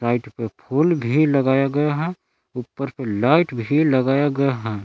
पे फूल भी लगाया गया है ऊपर से लाइट भी लगाया गया है।